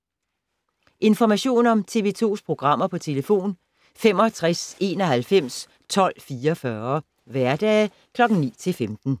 Information om TV 2's programmer: 65 91 12 44, hverdage 9-15.